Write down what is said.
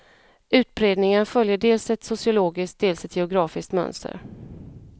Utbredningen följer dels ett sociologiskt, dels ett geografiskt mönster.